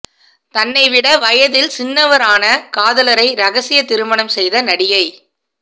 தன்னை விட வயதில் சின்னவரான காதலரை ரகசிய திருமணம் செய்த நடிகை